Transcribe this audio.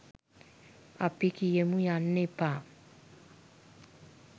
අපි කියමු යන්න එපා